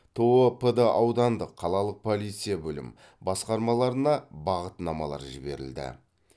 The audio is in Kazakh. то пд аудандық қалалық полиция бөлім басқармаларына бағытнамалар жіберілді